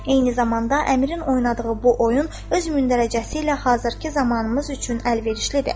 Eyni zamanda əmirin oynadığı bu oyun öz mündərəcəsi ilə hazırkı zamanımız üçün əlverişlidir.